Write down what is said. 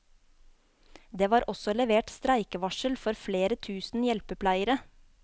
Det var også levert streikevarsel for flere tusen hjelpepleiere.